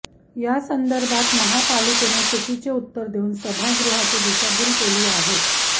यासंदर्भात महापालिकेने चुकीचे उत्तर देऊन सभागृहाची दिशाभूल केली आहे